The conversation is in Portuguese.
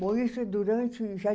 Bom, isso é durante